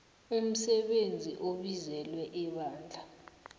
umsebenzi obizelwe ebandla